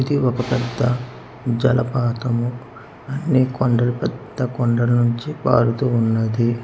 ఇది ఒక పెద్ద జలపాతము అన్ని కొండలు పెద్ద కొండల నుంచి పారూతూ ఉన్నది.